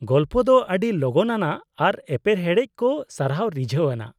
ᱜᱚᱞᱯᱚ ᱫᱚ ᱟᱹᱰᱤ ᱞᱚᱜᱚᱱ ᱟᱱᱟᱜ ᱟᱨ ᱮᱯᱮᱨᱦᱮᱰᱮᱡ ᱠᱚ ᱟᱨᱦᱚᱸ ᱨᱤᱡᱷᱟᱹᱣ ᱟᱱᱟᱜ ᱾